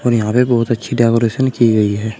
यहां पे बहुत अच्छी डेकोरेशन की गई है।